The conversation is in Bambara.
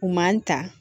U man ta